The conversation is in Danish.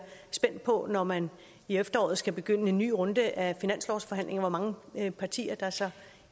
spændt på når man i efteråret skal begynde en ny runde af finanslovsforhandlinger hvor mange partier der så